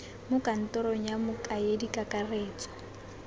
mo kantorong ya mokaedi kakaretso